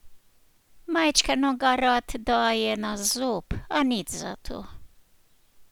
Majčkeno ga rad daje na zob, a nič zato.